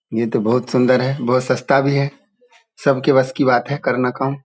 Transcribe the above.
ये तो बहुत सुन्दर है बहुत सस्ता भी है सबके बस्की बात है करना काम।